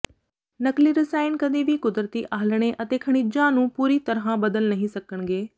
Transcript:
ਨਕਲੀ ਰਸਾਇਣ ਕਦੀ ਵੀ ਕੁਦਰਤੀ ਆਲ੍ਹਣੇ ਅਤੇ ਖਣਿਜਾਂ ਨੂੰ ਪੂਰੀ ਤਰ੍ਹਾਂ ਬਦਲ ਨਹੀਂ ਸਕਣਗੇ